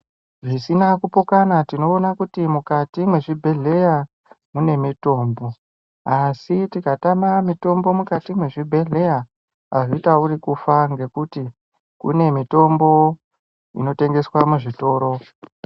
Zvisina kupokana tinoona kuti mukati mwezvibhedhleya mune mitombo asi tikatama mitombo mukati mwezvibhedhleya azvitauri kufa ngokuti kune mitombo inotengeswa muzvitoro.